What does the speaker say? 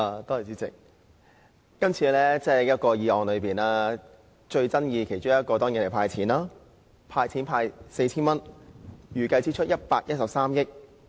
代理主席，今次的財政預算案其中一個最爭議的項目當然是"派錢 "4,000 元，預計支出113億元。